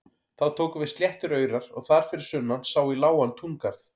Þá tóku við sléttir aurar og þar fyrir sunnan sá í lágan túngarð.